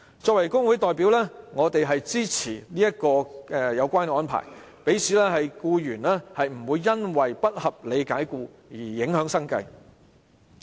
作為工會代表，我支持有關安排，讓僱員不會因不合理解僱而影響生計。